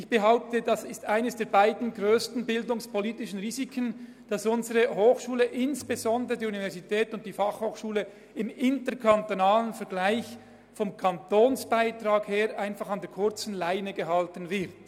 Ich behaupte, es gehört zu den grössten bildungspolitischen Risiken, dass unsere Hochschulen – vor allem die Universität und die BFH – im interkantonalen Vergleich gesehen vom Kanton an einer kurzen Leine gehalten werden.